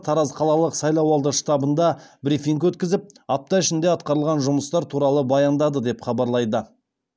тараз қалалық сайлауалды штабында брифинг өткізіп апта ішінде атқарылған жұмыстар туралы баяндады деп хабарлайды